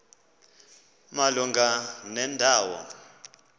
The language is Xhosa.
malunga nenda wo